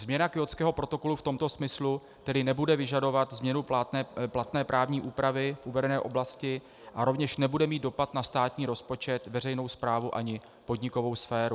Změna Kjótského protokolu v tomto smyslu tedy nebude vyžadovat změnu platné právní úpravy v uvedené oblasti a rovněž nebude mít dopad na státní rozpočet, veřejnou správu, ani podnikovou sféru.